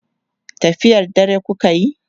tafiyar dare kukayi?